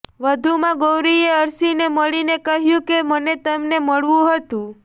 વધુમાં ગૌરીએ અર્શીને મળીને કહ્યુ કે મને તમને મળવું હતુ